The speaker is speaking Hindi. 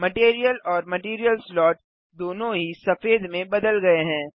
मटैरियल और मटैरियल स्लॉट दोनों ही सफेद में बदल गये हैं